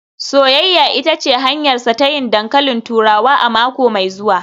“Soyayya ita ce hanyarsa ta yin dankalin turawa a mako mai zuwa